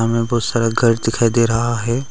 हमें बहोत सारा घर दिखाई दे रहा है।